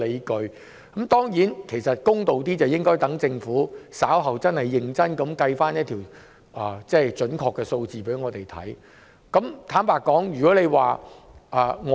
公道點說，其實應該讓政府稍後認真計算並提供準確數字後才下判斷。